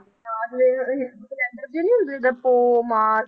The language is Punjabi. ਜਿੱਦਾਂ ਪੋਹ ਮਾ~